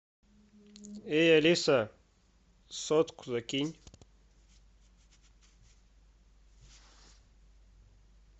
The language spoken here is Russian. эй алиса сотку закинь